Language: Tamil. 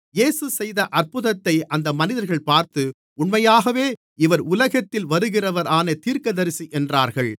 இயேசு செய்த அற்புதத்தை அந்த மனிதர்கள் பார்த்து உண்மையாகவே இவர் உலகத்தில் வருகிறவரான தீர்க்கதரிசி என்றார்கள்